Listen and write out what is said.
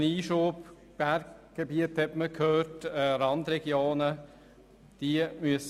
Ein Einschub: Berggebiete und Randregionen wurden erwähnt.